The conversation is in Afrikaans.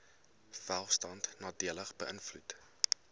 welstand nadelig beïnvloed